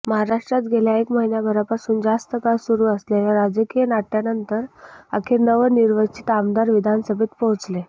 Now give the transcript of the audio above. महाराष्ट्रात गेल्या एक महिन्याभरापासून जास्त काळ सुरु असलेल्या राजकीय नाट्यानंतर अखेर नवनिर्वचित आमदार विधानसभेत पोहोचले